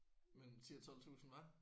Mellem 10 og 12 tusind hva?